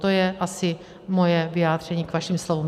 To je asi moje vyjádření k vašim slovům.